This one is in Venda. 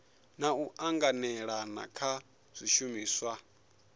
na u anganelana kha zwishumiswa